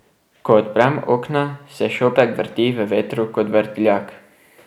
Ko odprem okna, se šopek vrti v vetru kot vrtiljak.